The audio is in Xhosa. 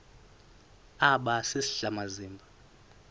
aba sisidl amazimba